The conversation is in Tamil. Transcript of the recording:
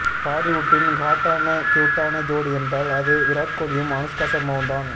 பாலிவுட்டின் ஹாட்டான கியூட்டான ஜோடி என்றால் அது விராட் கோலியும் அனுஸ்கா ஷர்மாவும்தான்